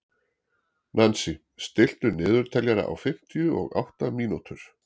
Nansý, stilltu niðurteljara á fimmtíu og átta mínútur.